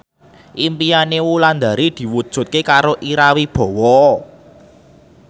impine Wulandari diwujudke karo Ira Wibowo